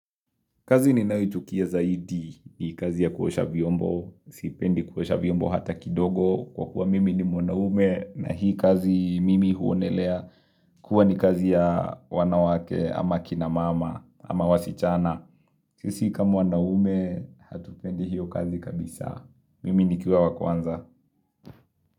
Kazi ninayoichukia zaidi ni kazi ya kuosha vyombo, sipendi kuosha vyombo hata kidogo kwa kuwa mimi ni mwanaume na hii kazi mimi huonelea kuwa ni kazi ya wanawake ama kina mama ama wasichana. Sisi kama wanaume hatupendi hiyo kazi kabisa. Mimi nikiwa wa kwanza.